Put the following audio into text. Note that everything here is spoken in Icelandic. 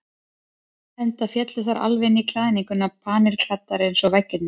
Enda féllu þær alveg inn í klæðninguna, panilklæddar eins og veggirnir.